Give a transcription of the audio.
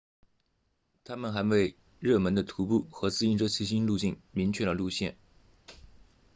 它们还为热门的徒步和自行车骑行路径明确了路线